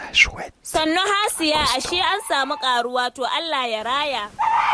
Sannu Hasiya. Ashe an samu ƙaruwa? To Allah ya raya